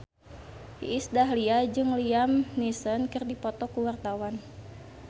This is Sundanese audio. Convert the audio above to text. Iis Dahlia jeung Liam Neeson keur dipoto ku wartawan